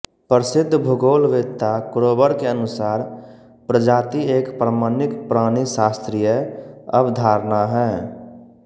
प्रसिद्ध भूगोलवेत्ता क्रोबर के अनुसार प्रजाति एक प्रमाणिक प्राणिशास्त्रीय अवधारणा हैं